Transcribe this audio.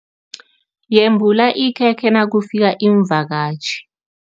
Yembula ikhekhe nakufika iimvakatjhi.